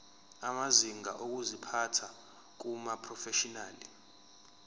amazinga okuziphatha kumaprofeshinali